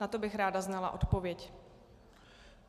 Na to bych ráda znala odpověď.